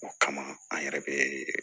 O kama an yɛrɛ bɛ